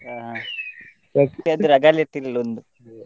ಆ ರಗಾಳೆ ಇರ್ತಿರ್ಲಿಲ್ಲಾ ಒಂದು.